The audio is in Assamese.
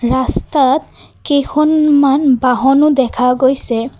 ৰাস্তাত কেইখনমান বহনো দেখা গৈছে।